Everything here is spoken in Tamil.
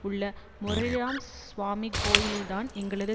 உள்ள முரளிராம சுவாமி கோயிலில்தான் எங்களது